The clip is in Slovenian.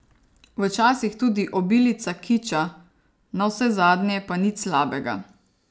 Včasih tudi obilica kiča, navsezadnje pa nič slabega.